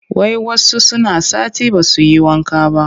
Wai wasu suna sati ba su yi wanka ba